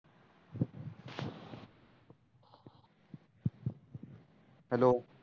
hello